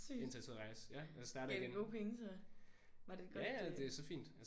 Sygt. Gav det gode penge så? Var det et godt øh